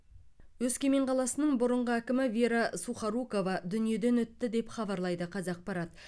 өскемен қаласының бұрынғы әкімі вера сухорукова дүниеден өтті деп хабарлайды қазақпарат